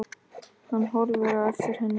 Hann horfir á eftir henni.